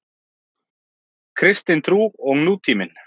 Kristin trú og nútíminn.